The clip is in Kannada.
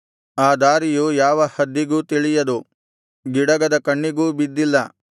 ಆ ದಾರಿಯು ಯಾವ ಹದ್ದಿಗೂ ತಿಳಿಯದು ಗಿಡಗದ ಕಣ್ಣಿಗೂ ಬಿದ್ದಿಲ್ಲ